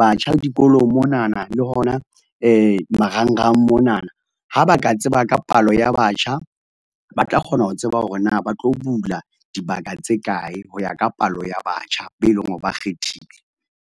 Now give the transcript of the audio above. batjha dikolong monana, le hona marangrang monana, ha ba ka tseba ka palo ya batjha, ba tla kgona ho tseba hore na ba tlo bula dibaka tse kae, ho ya ka palo ya batjha be e leng hore ba kgethile.